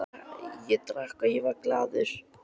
Ég drakk og ég var glaður.